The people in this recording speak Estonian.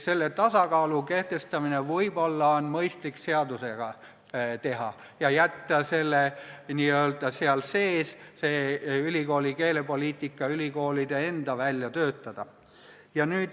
Selle tasakaalu kehtestamine võib olla mõistlik seadusega reguleerida ja jätta ülikoolide keelepoliitika ülikoolide enda välja töötada.